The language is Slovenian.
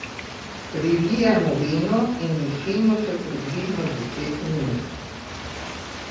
Prilijemo vino in dušimo še približno deset minut.